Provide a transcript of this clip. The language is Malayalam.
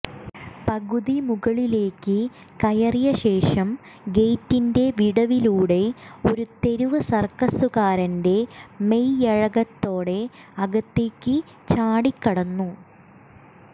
പകുതി മുകളിലേക്ക് കയറിയ ശേഷം ഗേറ്റിന്റെ വിടവിലൂടെ ഒരു തെരുവ് സർക്കസുകാരന്റെ മെയ്വഴക്കത്തോടെ അകത്തേയ്ക്ക് ചാടിക്കടന്നു